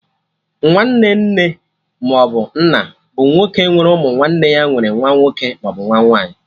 Nwanne nne maọbụ nna bụ nwoke nwere ụmụ nwanne ya nwere nwa nwoke maọbụ nwa nwaanyị